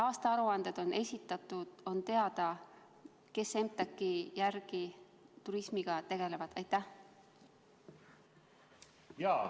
Aastaaruanded on esitatud, on teada, kes EMTAK-i järgi turismiga tegelevad.